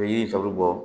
U bɛ yiri tɔ bɛ bɔ